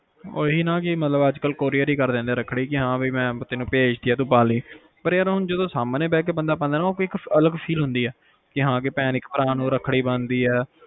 ਓਹੀ ਨਾ ਕਿ ਅੱਜ ਕੱਲ courier ਈ ਕਰ ਦਿੰਦੇ ਆ ਰੱਖੜੀ ਕਿ ਹਾ ਵੀ ਮੈ ਤੈਨੂੰ ਭੇਜ ਤੀ ਆ ਰੱਖੜੀ ਤੂੰ ਪਾਲੀ ਪਰ ਯਾਰ ਜਦੋ ਸਾਹਮਣੇ ਬੈ ਕੇ ਬੰਦਾ ਪਾਂਦਾ ਆ ਨਾ ਤਾ ਉਹ ਇੱਕ ਅਲੱਗ feel ਹੁੰਦੀ ਆ ਕਿ ਹਾ ਇੱਕ ਭੈਣ ਇੱਕ ਭਰਾ ਨੂੰ ਰੱਖੜੀ ਬੰਨਦੀ ਆ